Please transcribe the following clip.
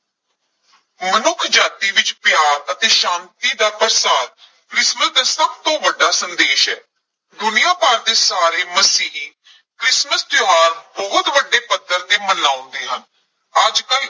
ਮਨੁੱਖਜਾਤੀ ਵਿਚ ਪਿਆਰ ਅਤੇ ਸ਼ਾਂਤੀ ਦਾ ਪ੍ਰਸਾਰ ਕ੍ਰਿਸਮਿਸ ਦਾ ਸਭ ਤੋਂ ਵੱਡਾ ਸੰਦੇਸ਼ ਹੈ, ਦੁਨੀਆਂ ਭਰ ਦੇ ਸਾਰੇ ਮਸੀਹੀ ਕ੍ਰਿਸਮਸ ਤਿਉਹਾਰ ਬਹੁਤ ਵੱਡੇ ਪੱਧਰ ਤੇ ਮਨਾਉਂਦੇ ਹਨ, ਅੱਜ ਕੱਲ੍ਹ